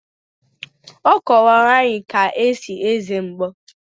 Ọ kọwara anyị ka esi eze mgbo.